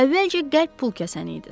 Əvvəlcə qəlb pulkəsən idiniz.